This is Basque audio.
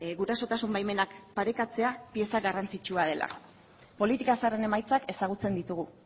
gurasotasun baimenak parekatzea pieza garrantzitsua dela politika zaharren emaitzak ezagutzen ditugu